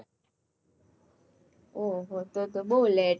ઓહ હો તો તો બહુ late